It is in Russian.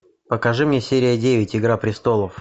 покажи мне серия девять игра престолов